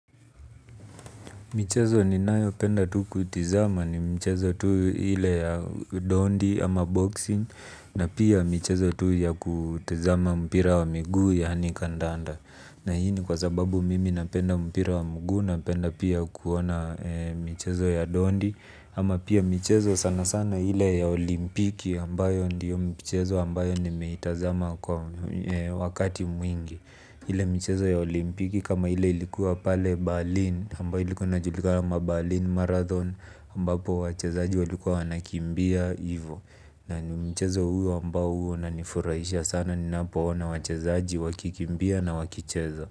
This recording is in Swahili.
Michezo ninayo penda tu kutizama ni michezo tu ile ya dondi ama boxing na pia michezo tu ya kutizama mpira wa miguu yaani kandanda na hii ni kwa sababu mimi napenda mpira wa miguu napenda pia kuona michezo ya dondi ama pia michezo sana sana ile ya olimpiki ambayo ndiyo michezo ambayo nimeitazama kwa wakati mwingi ile michezo ya olimpiki kama ile ilikuwa pale balin ambayo ilikuwa inajulika kama balin marathon ambapo wachezaji walikuwa wanakimbia hivo na mchezo huo ambao huwa unanifurahisha sana ninapo ona wachezaji wakikimbia na wakicheza.